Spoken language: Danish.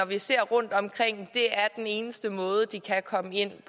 vi ser rundtomkring er den eneste måde de kan komme ind i